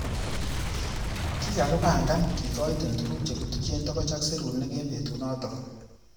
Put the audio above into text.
Kikakibangan kikoite tukuk chekituche tokoch ak.serunek eng betunotok.